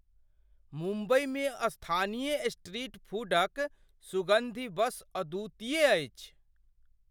मुम्बईमे स्थानीय स्ट्रीट फूडक सुगन्धि बस अद्वितीय अछि!